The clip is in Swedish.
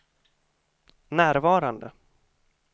närvarande